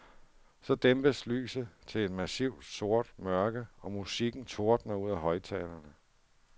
Så dæmpes lyset til et massivt sort mørke og musikken tordner ud af højttalerne.